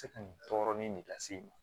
Se ka nin tɔɔrɔ nin lase i ma